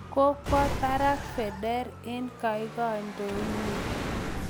Kokwa parak Federer eng' kaikaindonyi